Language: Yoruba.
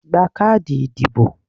Gba káàdì ìdìbò!